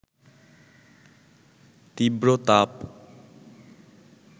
তীব্র তাপ